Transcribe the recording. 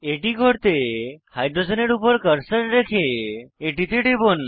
এটি করতে হাইড্রোজেনের উপর কার্সার রেখে এটিতে টিপব